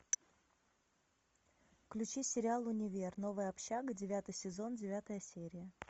включи сериал универ новая общага девятый сезон девятая серия